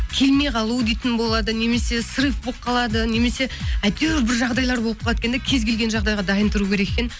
келмей қалу дейтін болады немесе срыв болып қалады немесе әйтеуір бір жағдайлар болып қалады екен де кез келген жағдайға дайын тұру керек екен